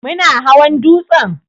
Muna hawan dutsen?